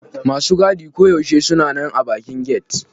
Masu gadi koyaushe suna man a bakin get.